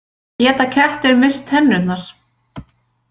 Geta kettir misst tennurnar?